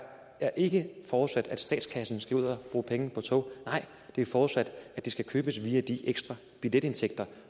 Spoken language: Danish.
er ikke forudsat at statskassen skal ud og bruge penge på tog nej det er forudsat at de skal købes via de ekstra billetindtægter